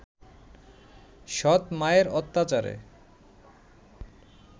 সৎ-মায়ের অত্যাচারে